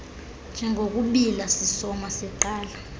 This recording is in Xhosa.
njengokubiila sisoma siqala